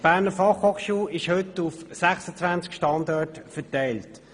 Die BFH ist heute auf 26 Standorte verteilt.